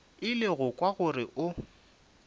ile go kwa gore o